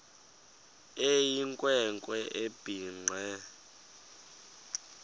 eyinkwe nkwe ebhinqe